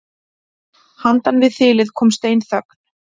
Handan við þilið kom steinþögn.